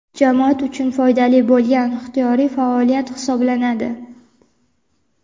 jamoat uchun foydali bo‘lgan ixtiyoriy faoliyat hisoblanadi.